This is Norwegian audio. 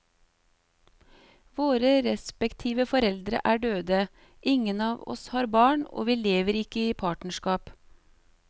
Våre respektive foreldre er døde, ingen av oss har barn og vi lever ikke i partnerskap.